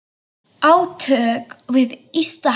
Átök við ysta haf.